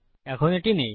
এখন এটি নেই